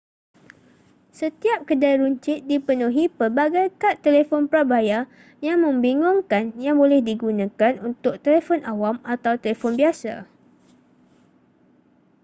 setiap kedai runcit dipenuhi pelbagai kad telefon prabayar yang membingungkan yang boleh digunakan untuk telefon awam atau telefon biasa